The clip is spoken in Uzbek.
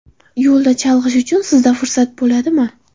Yo‘lda chalg‘ish uchun sizda fursat bo‘ladimi?